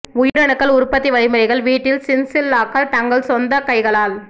உயிரணுக்கள் உற்பத்தி வழிமுறைகள் வீட்டில் சின்சில்லாக்கள் தங்கள் சொந்த கைகளால்